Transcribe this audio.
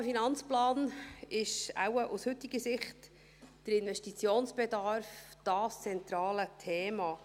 Im AFP ist wohl aus heutiger Sicht der Investitionsbedarf das zentrale Thema.